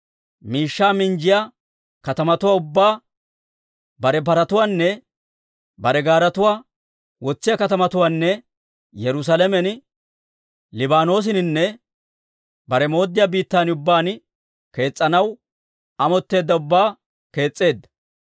miishshaa minjjiyaa katamatuwaa ubbaa, bare paratuwaanne paraa gaaretuwaa wotsiyaa katamatuwaanne Yerusaalamen, Libaanoosaninne bare mooddiyaa biittan ubbaan kees's'anaw amotteedda ubbaa kees's'eedda.